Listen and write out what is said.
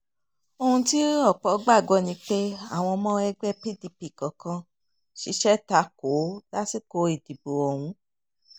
ohun tí ọ̀pọ̀ gbàgbọ́ ni pé àwọn ọmọ ẹgbẹ́ pdp kọ̀ọ̀kan ṣiṣẹ́ ta kò ó lásìkò ìdìbò ọ̀hún